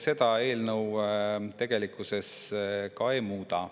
Seda eelnõu ka ei muuda.